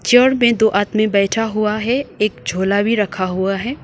Chair पे दो आदमी बैठा हुआ है एक झोला भी रखा हुआ है।